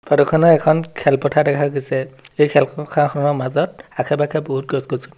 ফটোখনত এখন খেলপথাৰ দেখা গৈছে এই খেলপথাৰখনৰ মাজত আশে পাশে বহুত গছ-গছনি--